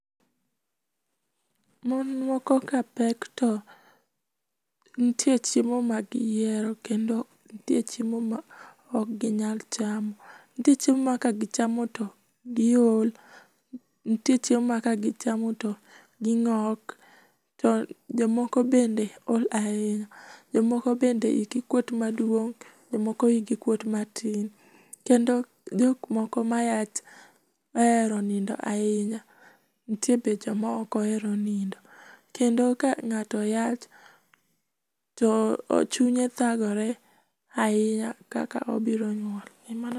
mon moko kapek to nitie chiemo ma gihero kendo nitie chiemo ma ok ginyal chamo, nitie chiemo ma kagichamo to giol, nitie chiemo ma kagichama to gingok , jomoko bende ol ahinya, jomoko bende igi kwot maduong, jomoko igi kwot matin, kendo jokmoko mayach ohero nindo ahinya nitie be jomaok ohero nindo kendo ka ngato yach to chunye thagore ahinya kaka obiro nyuol.